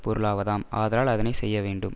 பொருளாவதாம் ஆதலால் அதனை செய்யவேண்டும்